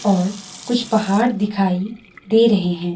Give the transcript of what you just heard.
और कुछ पहाड़ दिखाई दे रहे हैं।